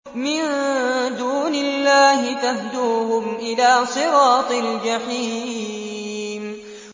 مِن دُونِ اللَّهِ فَاهْدُوهُمْ إِلَىٰ صِرَاطِ الْجَحِيمِ